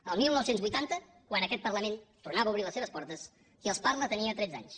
el dinou vuitanta quan aquest parlament tornava a obrir les seves portes qui els parla tenia tretze anys